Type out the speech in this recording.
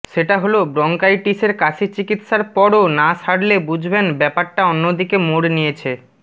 সেটা হল ব্রঙ্কাইচিসের কাশি চিকিৎসার পরও না সারলে বুঝবেন ব্যাপারটা অন্যদিকে মোড় নিয়েছে